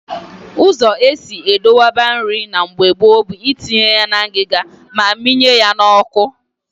Ụzọ esi edokwaba nri na mgbe gboo bụ itinye na ngịga ma ịmịnye ya n'ọkụ